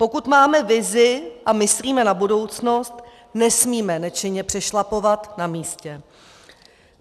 Pokud máme vizi a myslíme na budoucnost, nesmíme nečinně přešlapovat na místě.